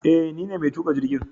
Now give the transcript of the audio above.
Eh nine mai tuka jirgin